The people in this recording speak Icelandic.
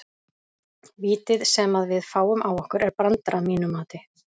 Vítið sem að við fáum á okkur er brandari að mínu mati.